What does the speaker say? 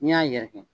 N'i y'a yɛrɛkɛ